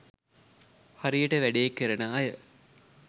හරියට වැඩේ කරන අය